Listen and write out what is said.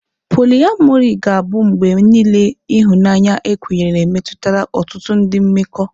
Poliamori ga-abụ mgbe niile ihunanya ekwenyere metụtara ọtụtụ ndị mmekọ.